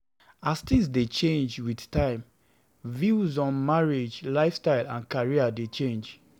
As things dey change with time, views on marriage, lifestyle and career dey change